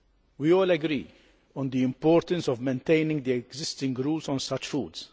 We all agree on the importance of maintaining the existing rules on such foods.